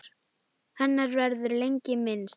Hennar verður lengi minnst.